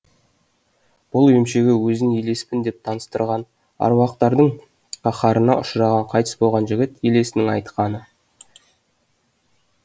бұл емшіге өзін елеспін деп таныстырған аруақтардың қаһарына ұшыраған қайтыс болған жігіт елесінің айтқаны